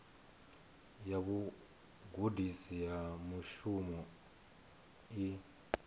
ya vhugudisi ha mushumo i